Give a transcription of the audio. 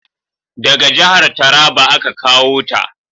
Daga jahar Taraba a ka kawo ta